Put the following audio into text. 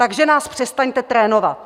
Takže nás přestaňte trénovat!